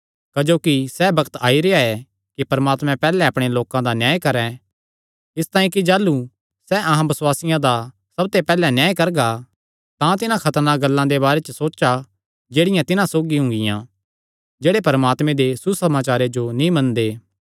क्जोकि सैह़ बग्त आई रेह्आ ऐ कि परमात्मा पैहल्ले अपणे लोकां दा न्याय करैं इसतांई कि जाह़लू सैह़ अहां बसुआसियां दा सबते पैहल्ले न्याय करगा तां तिन्हां खतरनाक गल्लां दे बारे च सोचा जेह्ड़ियां तिन्हां सौगी हुंगिया जेह्ड़े परमात्मे दे सुसमाचारे जो नीं मनदे